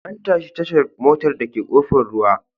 An tashi tashar motar dake Kofar ruwa.